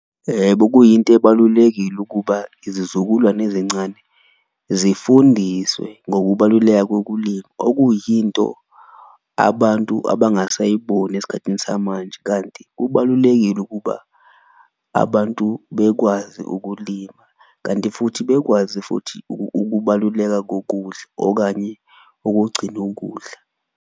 Ebo kuyinto ebalulekile ukuba izizukulwane ezincane zifundiswe ngokubaluleka kokulima, okuyinto abantu abangasayiboni esikhathini samanje, kanti kubalulekile ukuba abantu bekwazi ukulima. Kanti futhi bekwazi futhi ukubaluleka kokudla okanye ukugcina ukudla.